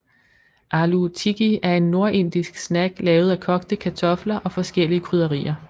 Aloo tikki er en nordindisk snack lavet af kogte kartofler og forskellige krydderier